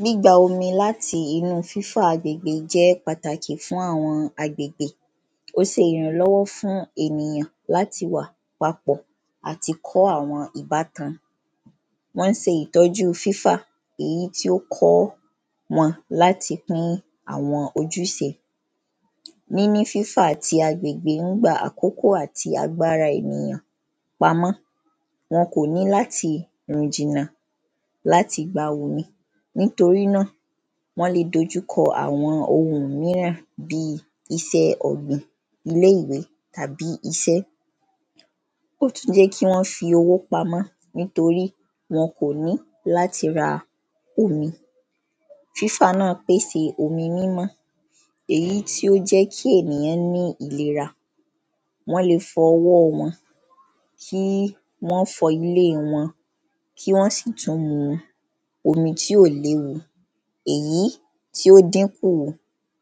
gbígba omi láti inú fífa agbègbè jẹ́ pàtàkì fún àwọn agbègbè, ó ṣe ìrànlọ́wọ́ fún ènìyàn láti wà papọ̀ àti kọ́ àwọn ìbátan wọ́n ṣe ìtọ́ju fífa èyí tí ó kọ́ wọn láti kún àwọn ojúṣe níní fífa ti agbègbè ń gba àkókò àti agbára ènìyàn pamọ́, wọ́n kò ní láti rìn jìnà, lati gba omi, nítorí náà wọ́n lè dojú kọ àwọn ohun míràn bíi isẹ́ ọ̀gbìn, ilé-ìwé tàbí isẹ́ ó tún jẹ́ kí wọ́n fi owó pamọ́ nítorí wọn kò ní láti ra omi fífà náà pèse omi mímọ́ èyí tí ó jẹ́ kí èyàn ní ìlera, wọ́n lè fọ ọwọ́ wọ́n, kí wọ́n fọ ilé wọn kí wọ́n sì tún mú omi tí ó léwu èyí tí ó dín kù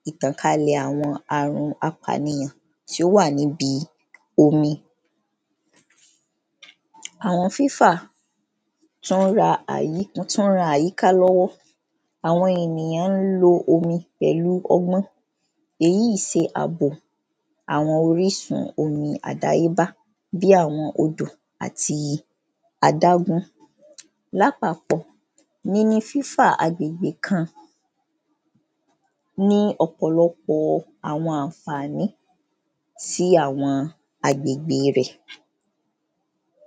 ìtànkalẹ̀ àwọn arun apànìyàn tí ó wà nibi omi àwọn fífà tí wọ́n ran àyíká lọ́wọ́, àwọn ènìyàn lo omi pẹ̀lu ọgbọ́n èyí ṣe àbò àwọn orísun omi àdáyébá bí àwọn odò àti adágún làpapọ̀ níní fífa àwọn agbègbè kan ní ọ̀pọ̀lọpọ̀ àwọn àǹfàní sí àwọn agbègbe rẹ̀